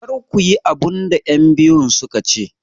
Kar ku yi abin da 'yanbiyun su ka ce!